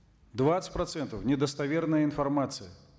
двадцать процентов недостоверная информация